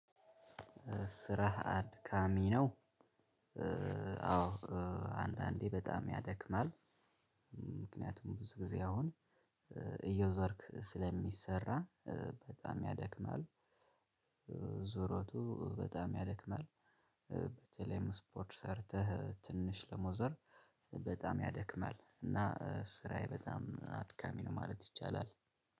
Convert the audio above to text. ስራህ አድካሚ ነው። አዎ። አንዳንዴ በጣም ያደክማል። ምክንያቱም ብዙ ጊዜ አሁን እየዞርክ ስለሚሰራ በጣም ያደክማል። ዙሮቱ በጣም ያደክማል። በተለይም ስፖርት ሰርተህ ትንሽ ለመዞር በጣም ያደክማል። እና ስራዬ በጣም አድካሚ ነው ማለት ይቻላል።